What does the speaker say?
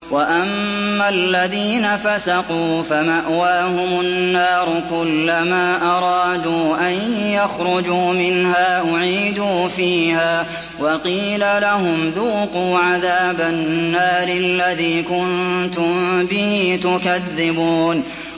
وَأَمَّا الَّذِينَ فَسَقُوا فَمَأْوَاهُمُ النَّارُ ۖ كُلَّمَا أَرَادُوا أَن يَخْرُجُوا مِنْهَا أُعِيدُوا فِيهَا وَقِيلَ لَهُمْ ذُوقُوا عَذَابَ النَّارِ الَّذِي كُنتُم بِهِ تُكَذِّبُونَ